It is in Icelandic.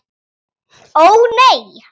Ó nei!